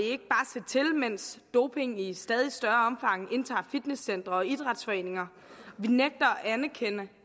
se til mens doping i stadig større omfang indtager fitnesscentre og idrætsforeninger vi nægter